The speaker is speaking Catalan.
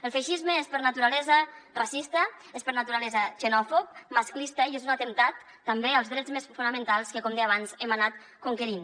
el feixisme és per naturalesa racista és per naturalesa xenòfob masclista i és un atemptat també contra els drets més fonamentals que com deia abans hem anat conquerint